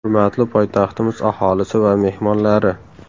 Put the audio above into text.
Hurmatli poytaxtimiz aholisi va mehmonlari!